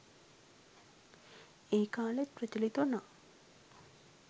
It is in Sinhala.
ඒ කාලෙත් ප්‍රචලිත වුණා